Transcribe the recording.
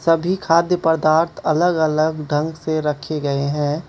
तभी खाद्य पदार्थ अलग-अलग ढंग से रखे गए हैं।